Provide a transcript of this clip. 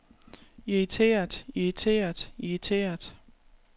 irriteret irriteret irriteret